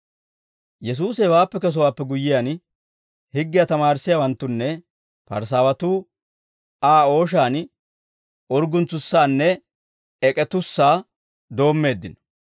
Yesuusi hewaappe kesowaappe guyyiyaan, higgiyaa tamaarissiyaawanttunne Parisaawatuu Aa ooshaan urgguntsusaanne ek'ettussaa doommeeddino.